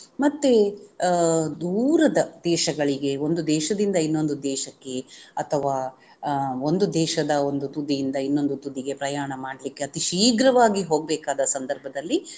ಮತ್ತೆ ಅಹ್ ದೂರದ ದೇಶಗಳಿಗೆ ಒಂದು ದೇಶದಿಂದ ಇನ್ನೊಂದು ದೇಶಕ್ಕೆ ಅಥವಾ ಅಹ್ ಒಂದು ದೇಶದ ಒಂದು ತುದಿಯಿಂದ ಇನ್ನೊಂದು ತುದಿಗೆ ಪ್ರಯಾಣ ಮಾಡಲಿಕ್ಕೆ ಅತೀ ಶೀಘ್ರವಾಗಿ ಹೋಗ್ಬೇಕಾದ ಸಂದರ್ಭದಲ್ಲಿ.